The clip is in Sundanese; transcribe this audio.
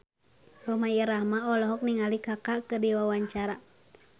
Rhoma Irama olohok ningali Kaka keur diwawancara